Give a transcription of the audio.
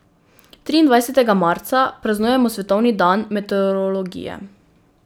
Triindvajsetega marca praznujemo svetovni dan meteorologije.